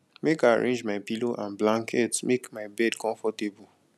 make i arrange my pillow and blanket make my bed comfortable